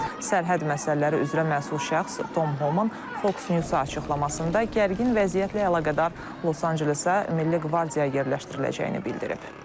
Sərhəd məsələləri üzrə məsul şəxs Tom Homan Fox News-a açıqlamasında gərgin vəziyyətlə əlaqədar Los-Ancelesə milli qvardiya yerləşdiriləcəyini bildirib.